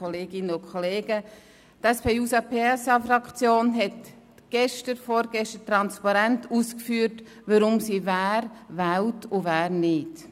Die SP-JUSO-PSA-Fraktion hat gestern beziehungsweise vorgestern transparent ausgeführt, weshalb sie wen wählt und wen nicht.